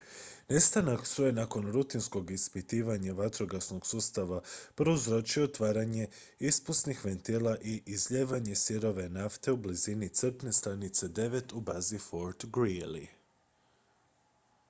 nestanak struje nakon rutinskog ispitivanja vatrogasnog sustava prouzročio je otvaranje ispusnih ventila i izlijevanje sirove nafte u blizini crpne stanice 9 u bazi fort greely